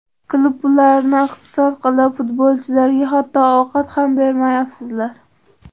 Klub pullarini iqtisod qilib, futbolchilarga hatto ovqat ham bermayapsizlar!